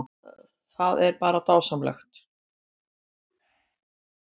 Það er bara dásamlegt